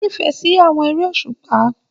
O n'ifẹ sí àwọn eré òṣùpá.